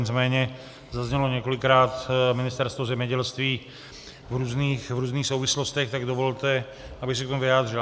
Nicméně zaznělo několikrát Ministerstvo zemědělství v různých souvislostech, tak dovolte, abych se k tomu vyjádřil.